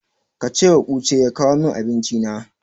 Ka cewa Uche ya kawo min Abinci na.